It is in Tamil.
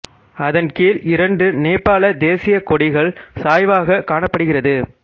அதன் கீழ் இரண்டு நேபாள தேசியக் கொடிகள் சாய்வாக காணப்படுகிறது